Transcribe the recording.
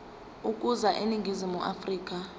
ukuza eningizimu afrika